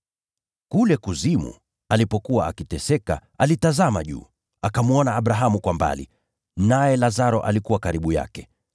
Kule kuzimu alipokuwa akiteseka, alitazama juu, akamwona Abrahamu kwa mbali, naye Lazaro alikuwa karibu yake.